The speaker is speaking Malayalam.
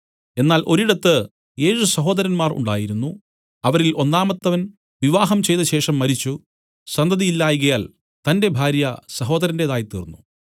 എന്നാൽ ഒരിടത്ത് ഏഴ് സഹോദരന്മാർ ഉണ്ടായിരുന്നു അവരിൽ ഒന്നാമത്തവൻ വിവാഹം ചെയ്തശേഷം മരിച്ചു സന്തതി ഇല്ലായ്കയാൽ തന്റെ ഭാര്യ സഹോദരന്റേതായിത്തീർന്നു